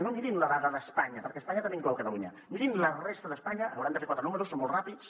no mirin la dada d’espanya perquè espanya també inclou catalunya mirin la resta d’espanya hauran de fer quatre números són molt ràpids